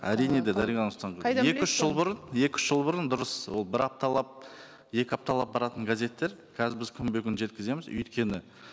әрине де дариғга нурсултановна қайдан екі үш жыл бұрын екі үш жыл бұрын дұрыс ол бір апталап екі апталап баратын газеттер қазір біз күнбе күн жеткіземіз өйткені